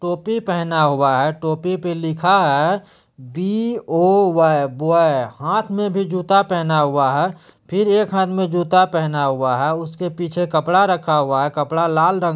टोपी पहना हुआ है | टोपी पे लिखा है बी ओ वाय बॉय | हाथ मे भी जूता पहना हुआ है फिर एक हाथ पर जूता पहना हुआ है | उसके पीछे कपड़ा रखा हुआ है कपड़ा लाल रंग --